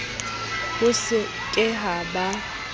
ho se ke ha ba